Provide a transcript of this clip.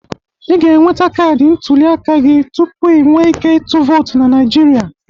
Ị ga-enweta kaadị ntụliaka aka gị tupu i nwe ike ịtụ vootu na Naịjirịa.